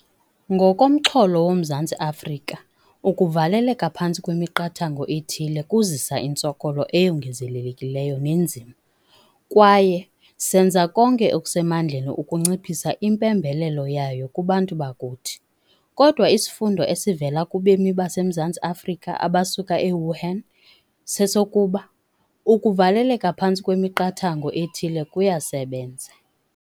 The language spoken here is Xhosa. Ngokomxholo woMzantsi Afrika, ukuvaleleka phantsi kwemiqathango ethile kuzisa intsokolo eyongezelekileyo neenzima, kwaye senza konke okusemandleni ukunciphisa impembelelo yayo kubantu bakuthi. Kodwa isifundo esivela kubemi baseMzantsi Afrika abasuka e-Wuhan sesokuba ukuvaleleka phantsi kwemiqathango ethile kuyasebenza.